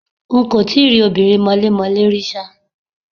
N kò tí ì rí obìnrin mọlémọlẹ́ rí ṣá.